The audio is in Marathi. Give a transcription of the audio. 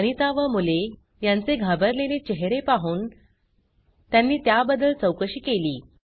अनिता व मुले यांचे घाबरलेले चेहरे पाहून त्यांनी त्याबद्दल चौकशी केली